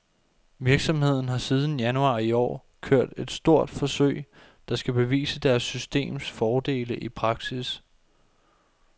Virksomheden har siden januar i år kørt et stort forsøg, der skal bevise deres systems fordele i praksis.